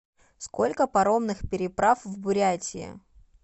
сколько паромных переправ в бурятии